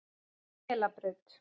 Melabraut